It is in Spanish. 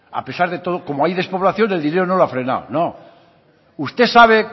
a pesar de todo como hay despoblación el dinero no lo ha frenado no usted sabe